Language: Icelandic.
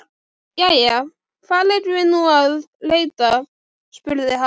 Jæja, hvar eigum við nú að leita? spurði hann.